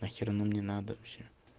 нахер оно мне надо вообще